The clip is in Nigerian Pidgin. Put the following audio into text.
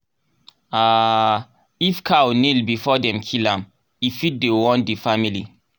um if cow kneel before dem kill am e fit dey warn di family.